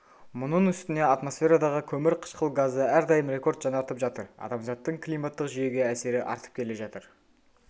мұның үстіне атмосферадағы көмірқышқыл газы әрдайым рекорд жаңартып жатыр адамзаттың климаттық жүйеге әсері артып келе жатыр